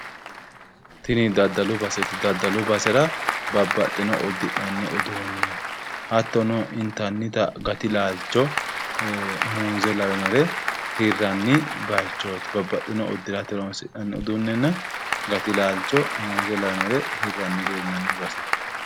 Tini daddalu baseeti. Daddalu basera babbaxxino uddi'nanni uduunne hattono intannita muuze lawinore hirranni baayiichooti. Babbaxino uddirate horonsi'nanni uduunnenna gati laalcho muuze lawinore hiranniri leellanno baseeti.